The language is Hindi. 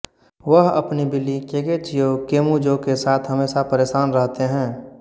वह अपनी बिल्ली केगेचियो केमूजो के साथ हमेशा परेशान रहते हैं